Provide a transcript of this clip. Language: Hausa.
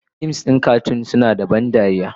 fim na zane suna da ban dariya,